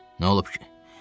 Nə olub ki?